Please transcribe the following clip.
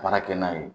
Baara kɛ n'a ye